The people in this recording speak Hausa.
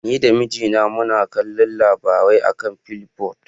Ni da mijina muna kallon labarai a kan flipboard.